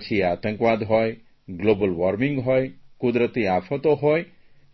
પછી એ આતંકવાદ હોય ગ્લોબલ વોર્મિંગ હોય કુદરતી આફતો હોય